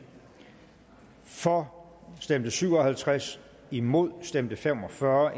for stemte syv og halvtreds imod stemte fem og fyrre